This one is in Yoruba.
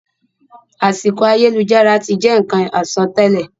Àsìkò ayélujára ti je nkan àsọtẹlẹ.